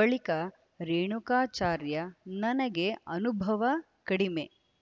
ಬಳಿಕ ರೇಣುಕಾಚಾರ್ಯ ನನಗೆ ಅನುಭವ ಕಡಿಮೆ